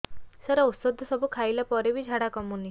ସାର ଔଷଧ ସବୁ ଖାଇଲା ପରେ ବି ଝାଡା କମୁନି